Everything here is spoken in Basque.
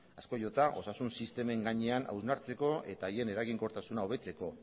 asko jota osasun sistemen gainean hausnartzeko eta haien eraginkortasuna hobetzeko